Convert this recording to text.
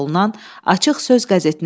Azərbaycan buna hazırlıqsız deyildi.